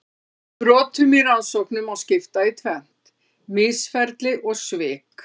Brotum í rannsóknum má skipta í tvennt: misferli og svik.